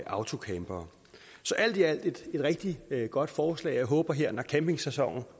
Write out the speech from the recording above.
autocampere så alt i alt er det et rigtig godt forslag og jeg håber at når campingsæsonen